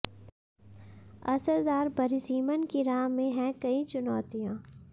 असरदार परिसीमन की राह में हैं कई चुनौतियां